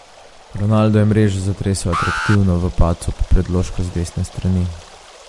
Ronaldo je mrežo zatresel atraktivno v padcu po predložku z desne strani.